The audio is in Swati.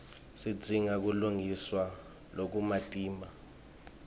sidzinga kulungiswa lokumatima